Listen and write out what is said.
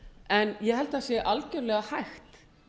en ég held að sé algjörlega hægt